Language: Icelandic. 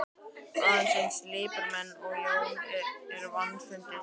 Annað eins lipurmenni og Jón er vandfundið.